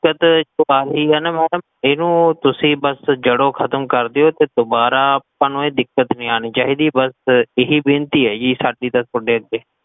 madam ਏਨੁ ਤੁਸੀਂ ਬੱਸ ਜੜੋਂ ਖਤਮ ਕ੍ਰ੍ਦੇਓ ਤੇ ਦੋਬਾਰਾ ਤੁਹਾਨੂ ਇਹ ਦਿੱਕਤ ਨੀ ਆਨੀ ਚਾਹੀਦੀ, ਬੱਸ ਇਹੀ ਬੇਨਤੀ ਹੈ ਜੀ, ਸਾਡੀ ਤਾਂ ਥੋਡੇ ਅੱਗੇ